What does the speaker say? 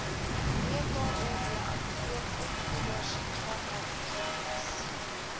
wkod adverteer opvoedersvakatures